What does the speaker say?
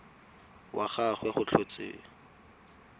wa ga gagwe go tlhotswe